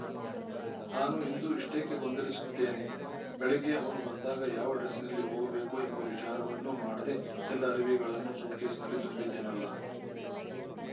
ತಾನು ಇಂದು ಇಷೆ್ಟೀಕೆ ಗೊಂದಲಿಸಿದ್ದೇನೆ ಬೆಳಿಗ್ಗೆ ಅವನು ಬಂದಾಗ ಯಾವ ಡ್ರೆಸ್ಸಿನಲ್ಲಿ ಹೋಗಬೇಕು ಎಂಬ ವಿಚಾರವನ್ನೂ ಮಾಡದೇ ಎಲ್ಲ ಅರಿವೆಗಳನ್ನೂ ಸೂಟ್ಕೇಸಿನಲ್ಲಿ ತುಂಬಿದೆನಲ್ಲ